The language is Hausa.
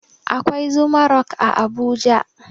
Akwai zuma rock a abuja